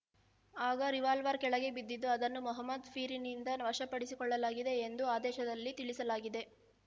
ಆಗ ರಿವಾಲ್ವಾರ್‌ ಕಳೆಗೆ ಬಿದ್ದಿದ್ದು ಅದನ್ನು ಮೊಹಮ್ಮದ್‌ ಪೀರಿನಿಂದ ವಶಪಡಿಸಿಕೊಳ್ಳಲಾಗಿದೆ ಎಂದು ಆದೇಶದಲ್ಲಿ ತಿಳಿಸಲಾಗಿದೆ